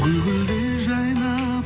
гүл гүлдей жайнап